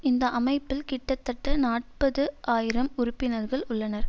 இந்த அமைப்பில் கிட்டத்தட்ட நாற்பது ஆயிரம் உறுப்பினர்கள் உள்ளனர்